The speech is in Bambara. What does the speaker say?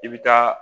I bɛ taa